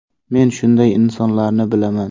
Men shunday insonlarni bilaman.